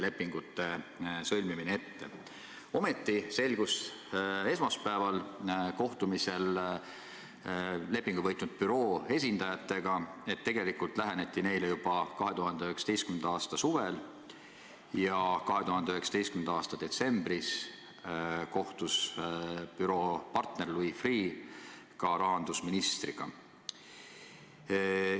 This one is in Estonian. Ometi selgus esmaspäevasel kohtumisel lepingu võitnud büroo esindajatega, et tegelikult läheneti neile juba 2019. aasta suvel ja et 2019. aasta detsembris kohtus büroo partner Louis Freeh ka rahandusministriga.